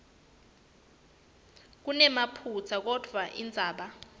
kunemaphutsa kodvwa indzaba